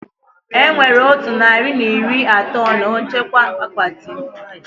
Enwere otu narị na iri atọ na nchekwa akpati m